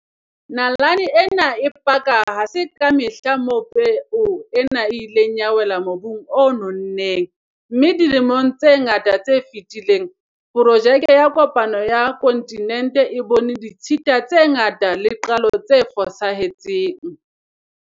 Nalane e paka hore ha se ka mehla moo peo ena e ileng ya wela mobung o nonneng, mme dilemong tse ngata tse fetileng, porojeke ya kopano ya kontinente e bone ditshita tse ngata le qalo tse fosahe tseng.